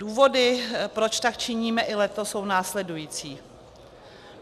Důvody, proč tak činíme i letos, jsou následující.